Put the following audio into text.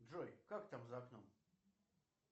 джой как там за окном